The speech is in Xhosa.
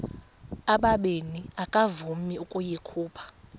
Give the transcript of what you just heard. ubabini akavuma ukuyikhupha